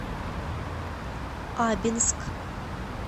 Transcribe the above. абинск